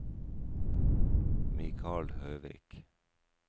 Mikal Høvik